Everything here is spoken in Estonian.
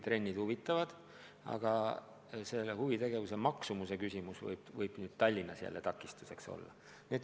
Trenn võib huvi pakkuda, aga selle tasu võib Tallinnas takistuseks olla.